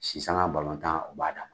Si sanga balɔntan, o b'a da.